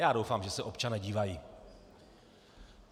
Já doufám, že se občané dívají.